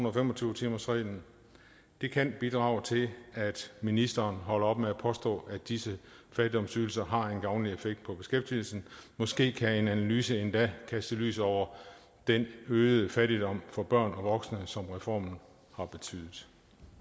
og fem og tyve timersreglen det kan bidrage til at ministeren holder op med at påstå at disse fattigdomsydelser har en gavnlig effekt på beskæftigelsen måske kan en analyse endda kaste lys over den øgede fattigdom for børn og voksne som reformen har betydet